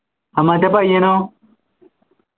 ആ മറ്റേ പയ്യനോ